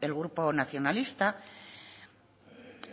el grupo nacionalista